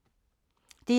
DR1